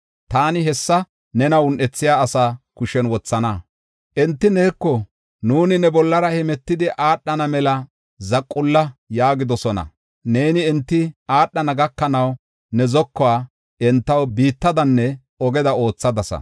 Taani hessa nena un7ethiya asaa kushen wothana; Enti neeko, ‘Nuuni ne bollara hemetidi aadhana mela zaqulla’ ” yaagidosona. Neeni enti aadhana gakanaw ne zokuwa entaw biittadanne ogeda oothadasa.